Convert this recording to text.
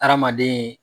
Hadamaden